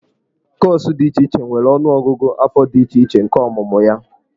Kọọsụ dị iche iche nwere ọnụọgụgụ afọ dị iche iche nke ọmụmụ ya.